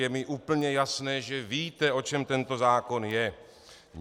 Je mi úplně jasné, že víte, o čem tento zákon je.